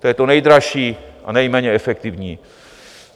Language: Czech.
To je to nejdražší a nejméně efektivní.